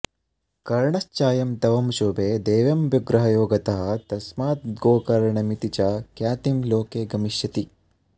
ಕರ್ಣಶ್ಚಾಯಂ ತವ ಶುಭೇ ದೇವ್ಯಂಬುಗ್ರಹ ಯೋಗತಃ ತಸ್ಮಾದ್ಗೋಕರ್ಣಮಿತಿ ಚ ಖ್ಯಾತಿಂ ಲೋಕೇ ಗಮಿಷ್ಯತಿ